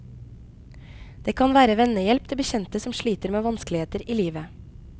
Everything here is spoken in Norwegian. Det kan være vennehjelp til bekjente som sliter med vanskeligheter i livet.